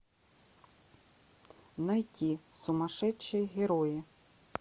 найти сумасшедшие герои